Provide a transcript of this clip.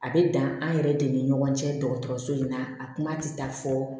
A bɛ dan an yɛrɛ de ni ɲɔgɔn cɛ dɔgɔtɔrɔso in na a kuma tɛ taa fɔ